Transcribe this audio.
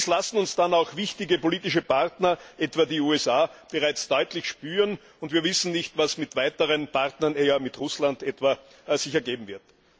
Dies lassen uns dann auch wichtige politische Partner, etwa die USA, bereits deutlich spüren, und wir wissen nicht, was sich mit weiteren Partnern, mit Russland etwa, ergeben wird.